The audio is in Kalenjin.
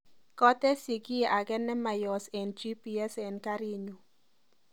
Katesyi kiy age nemayos eng g.p.s eng karinyu